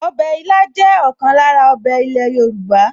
Ọbẹ̀ ilá jẹ́ ọ̀kan lára ọbẹ̀ ilẹ̀ Yorùbá